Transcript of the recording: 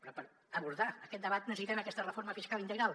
però per abordar aquest debat necessitem aquesta reforma fiscal integral